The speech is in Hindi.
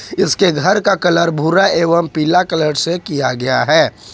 इसके घर का कलर भूरा एवं पीला कलर से किया गया है।